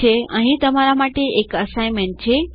ઠીક છે તો અહીં તમારા માટે એક અસાઇનમેન્ટ છે